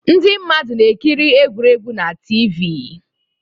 Ndị mmadụ na-ekiri egwuregwu na TV